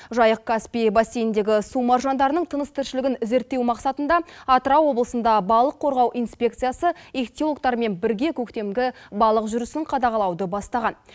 жайық каспий бассейніндегі су маржандарының тыныс тіршілігін зерттеу мақсатында атырау облысында балық қорғау инспекциясы ихтиологтармен бірге көктемгі балық жүрісін қадағалауды бастаған